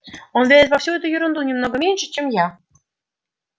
он верит во всю эту ерунду немного меньше чем я